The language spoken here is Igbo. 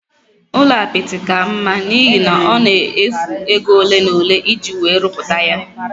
Ụlọ apịtị ka mma n'ihi na ọ na-efu ego ole n'ole iji wee ruputaya